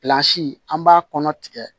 an b'a kɔnɔ tigɛ